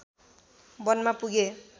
वनमा पुगे